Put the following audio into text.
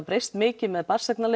breyst mikið með